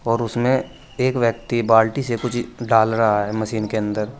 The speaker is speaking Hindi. और उसमे एक व्यक्ति बाल्टी से कुछ डाल रहा है मशीन के अंदर।